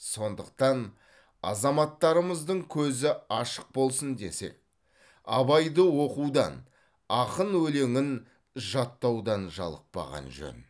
сондықтан азаматтарымыздың көзі ашық болсын десек абайды оқудан ақын өлеңін жаттаудан жалықпаған жөн